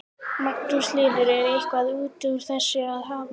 Magnús Hlynur: Er eitthvað út úr þessu að hafa?